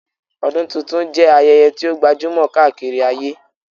Ọdún tuntun jẹ́ ayẹyẹ tí ó gbajúmọ̀ káàkiri ayé